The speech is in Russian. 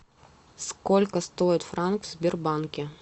сколько стоит франк в сбербанке